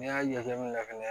N'i y'a jateminɛ fɛnɛ